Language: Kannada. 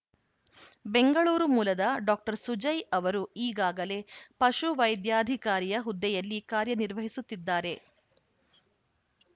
ಬೆಂಗಳೂರು ಮೂಲದ ಡಾಕ್ಟರ್ ಸುಜಯ್‌ ಅವರು ಈಗಾಗಲೇ ಪಶು ವೈದ್ಯಾಧಿಕಾರಿಯ ಹುದ್ದೆಯಲ್ಲಿ ಕಾರ್ಯ ನಿರ್ವಹಿಸುತ್ತಿದ್ದಾರೆ